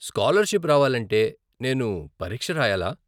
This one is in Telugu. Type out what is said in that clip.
స్కాలర్షిప్ రావాలంటే నేను పరీక్ష రాయలా ?